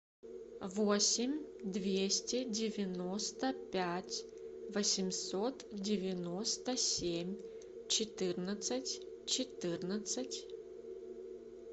восемь двести девяносто пять восемьсот девяносто семь четырнадцать четырнадцать